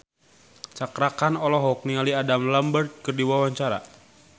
Cakra Khan olohok ningali Adam Lambert keur diwawancara